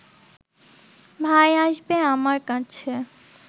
ভাই আসবে আমার কাছে